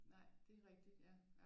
Nej det er rigtigt ja